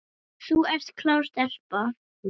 Þú ert klár stelpa.